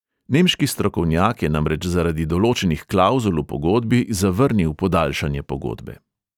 Nemški strokovnjak je namreč zaradi določenih klavzul v pogodbi zavrnil podaljšanje pogodbe.